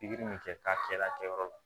Pikiri min kɛ k'a kɛ la kɛyɔrɔ la